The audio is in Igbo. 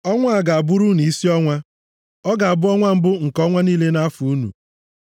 “Ọnwa a ga-abụrụ unu isi ọnwa. Ọ ga-abụ ọnwa mbụ nke ọnwa niile nʼafọ unu.